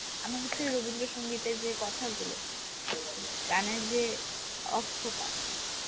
আমার হচ্ছে রবীন্দ্রসঙ্গীতের যে কথা গুলো গানের যে অর্থটা